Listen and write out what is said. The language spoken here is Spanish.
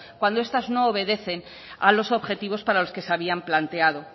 cuando estas no obedecen a los objetivos para los que se habían planteado